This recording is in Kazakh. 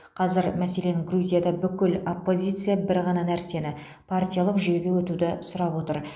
қазір мәселен грузияда бүкіл оппозиция бір ғана нәрсені партиялық жүйеге өтуді сұрап отыр